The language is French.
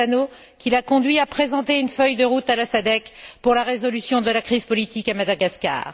Chissano, qui l'a conduit à présenter une feuille de route à la SADC pour la résolution de la crise politique à Madagascar.